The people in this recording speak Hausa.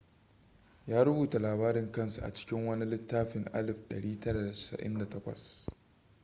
ya rubuta labarin kansa a cikin wani littafin 1998